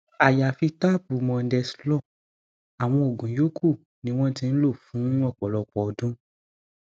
àyàfi táàbù mondeslor àwọn oògùn yòókù ni wọn ti ń lò fún ọpọlọpọ ọdún